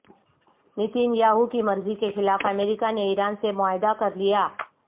Nitin Yahoo کی مرضی کے خلاف امریکہ نے ایران سے معاہدہ کر لیا